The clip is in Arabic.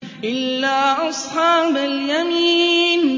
إِلَّا أَصْحَابَ الْيَمِينِ